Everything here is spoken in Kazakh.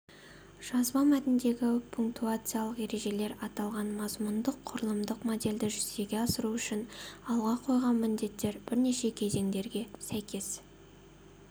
жазба мәтіндегі пунктуациялық ережелер аталған мазмұндық-құрылымдық модельді жүзеге асыру үшін алға қойған міндеттер бірнеше кезеңдерге сәйкес